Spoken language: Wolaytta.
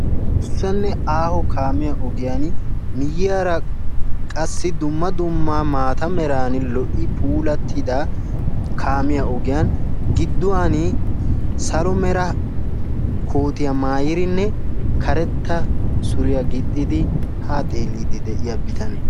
Adussanne aaho kaamiya ogiyaan miyyiyaara qassi dumma dumma maata meran lo"i puulati kaamiya ogiyan gidduwaan salo mera koottiya mayiidinne karetta mera gixxidi ha xeellodo de'iyaa bitanee...